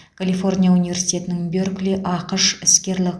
калифорния университетінің беркли ақш іскерлік